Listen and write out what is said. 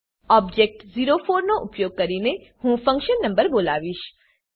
object ઓ4 નો ઉપયોગ કરીને હું ફંક્શન નંબર બોલાવીશ